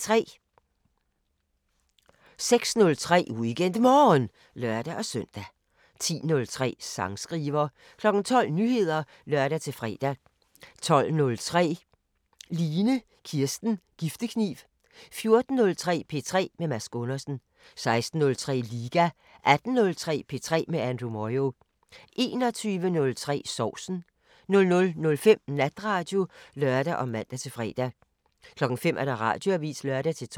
06:03: WeekendMorgen (lør-søn) 10:03: Sangskriver 12:00: Nyheder (lør-fre) 12:03: Line Kirsten Giftekniv 14:03: P3 med Mads Gundersen 16:03: Liga 18:03: P3 med Andrew Moyo 21:03: Sovsen 00:05: Natradio (lør og man-fre) 05:00: Radioavisen (lør-tor)